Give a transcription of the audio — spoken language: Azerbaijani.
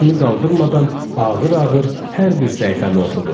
Başını qaldırmadan ağır-ağır hər bir səhifəni oxudu.